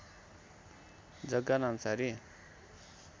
जग्गा नामासारी